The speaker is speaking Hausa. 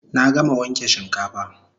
Na gama wanke shinkafa